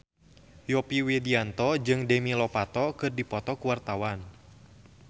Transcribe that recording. Yovie Widianto jeung Demi Lovato keur dipoto ku wartawan